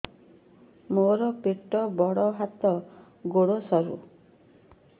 ମୋର ପେଟ ବଡ ହାତ ଗୋଡ ସରୁ